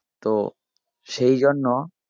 তো সেইজন্য